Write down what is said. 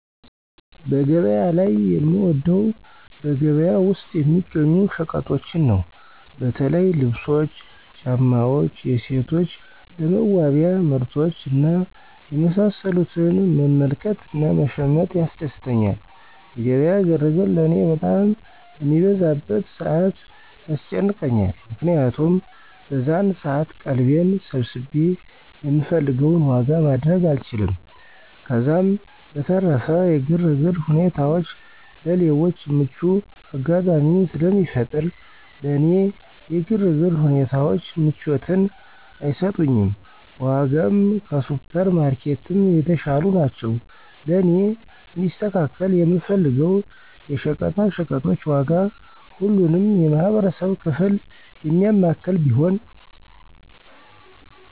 በገበያ ላይ የምወደው በገበያ ውስጥ የሚገኙ ሸቀጦችን ነው። በተለይ ልብሶች፣ ጫማዎች፣ የሴቶች ለመዋቢያ ምርቶች እና የመሳሰሉትን መመልከት እና መሸመት ያስደስተኛል። የገበያ ግርግር ለእኔ በጣም በሚበዛበት ሰዓት ያስጨንቀኛል። ምክንያቱም በዛን ሰዓት ቀልቤን ሰብስቤ የምፈልገውን ዋጋ ማድረግ አልችልም፤ ከዛም በተረፈ የግርግር ሁኔታዎች ለሌቦች ምቹ አጋጣሚን ስለሚፈጥር ለእኔ የግርግር ሁኔታዎች ምቾትን አይሰጡኝም። በዋጋም ከሱፐር ማርኬትም የተሻሉ ናቸው። ለእኔ እንዲስተካከል የምፈልገው የሸቀጣሸቀጦች ዋጋ ሁሉንም የማህበረሰብ ክፍል የሚያማክል ቢሆን።